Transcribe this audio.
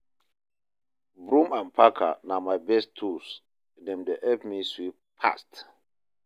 Broom and packer na my best tools, dem dey help me sweep fast.